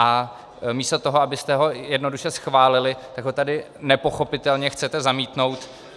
A místo toho, abyste ho jednoduše schválili, tak ho tady nepochopitelně chcete zamítnout.